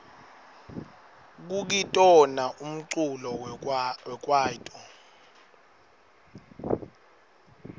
kukitona umculo wekwaito